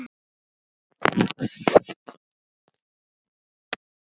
Í frásögn sem heitir Frúin á Grund segir Kristín